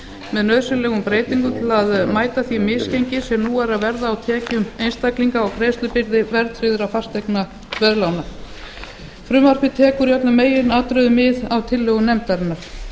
með nauðsynlegum breytingum til að mæta því misgengi sem nú er að verða á tekjum einstaklinga og greiðslubyrði verðtryggðra fasteignaveðlána frumvarpið tekur í öllum meginatriðum mið af tillögum nefndarinnar